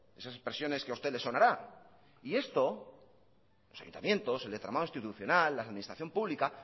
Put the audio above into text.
esas expresiones que a usted le sonará esto los ayuntamientos el entramado institucional la administración pública